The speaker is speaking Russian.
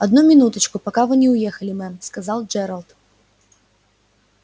одну минуточку пока вы не уехали мэм сказал джералд